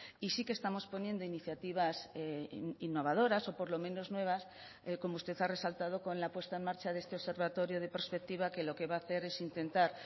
y sí que estamos poniendo iniciativas innovadoras o por lo menos nuevas como usted ha resaltado con la puesta en marcha de este observatorio de prospectiva que lo que va a hacer es intentar